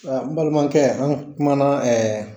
n balimakɛ an kumana